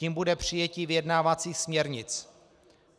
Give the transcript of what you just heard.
Tím bude přijetí vyjednávacích směrnic.